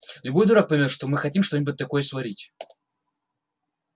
любой дурак поймёт что мы хотим что-нибудь такое сварить